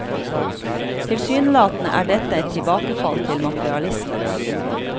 Tilsynelatende er dette et tilbakefall til materialisme.